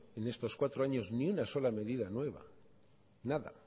en estos cuatro años ni una sola medida nueva nada